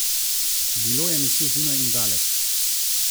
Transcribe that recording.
Bilo je nekje zunaj in daleč.